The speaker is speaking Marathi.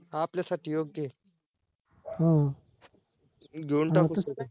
आपल्यासाठी योग्य आहे घेऊन टाकू second